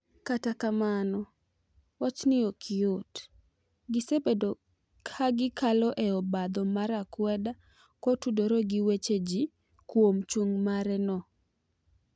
kata kamano wachni ok yot gisebedo ka gi kalo e obadho mar akweda ko tudore gi weche ji kuom chung' mare no.